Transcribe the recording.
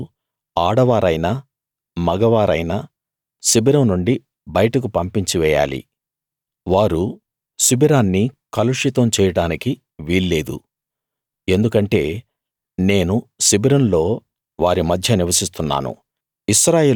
వారు ఆడవారైనా మగవారైనా శిబిరం నుండి బయటకు పంపించి వేయాలి వారు శిబిరాన్ని కలుషితం చేయడానికి వీల్లేదు ఎందుకంటే నేను శిబిరంలో వారి మధ్య నివసిస్తున్నాను